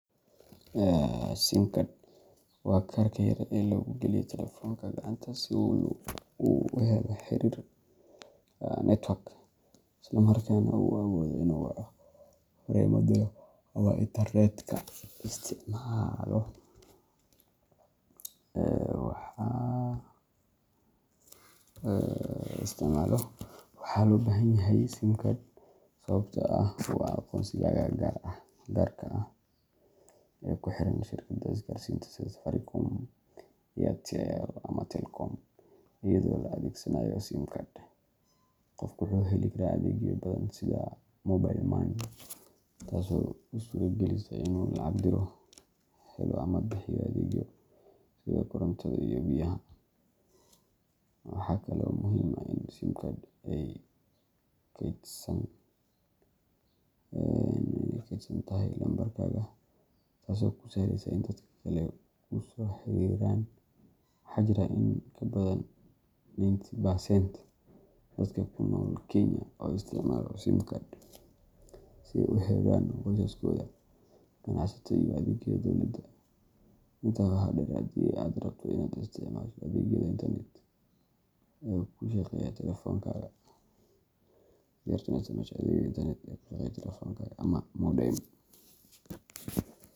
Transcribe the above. Sim card waa kaarka yar ee lagu geliyo taleefoonka gacanta si uu u helo xiriir network isla markaana uu u awoodo inuu waco, fariimo diro, ama internetka isticmaalo. Waxaa loo baahan yahay sim card sababtoo ah waa aqoonsigaaga gaarka ah ee ku xiran shirkadda isgaarsiinta sida Safaricom, Airtel ama Telkom. Iyadoo la adeegsanayo sim card, qofku wuxuu heli karaa adeegyo badan sida mobile money, taasoo u suuragelisa inuu lacag diro, helo ama bixiyo adeegyo sida korontada iyo biyaha. Waxaa kale oo muhiim ah in sim card ay kaydsan tahay lambarkaaga, taasoo kuu sahleysa in dadka kale ku soo xiriiraan. Waxaa jira in ka badan ninety percent dadka ku nool Kenya oo isticmaalaya sim cards si ay ula xiriiraan qoysaskooda, ganacsato iyo adeegyada dowladda. Intaa waxaa dheer, haddii aad rabto inaad isticmaasho adeegyada internet ee ku shaqeeya taleefoonkaaga ama modem.